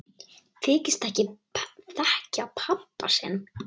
Þykist ekki þekkja pabba sinn!